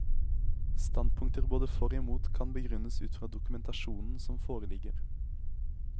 Standpunkter både for og imot kan begrunnes ut fra dokumentasjonen som foreligger.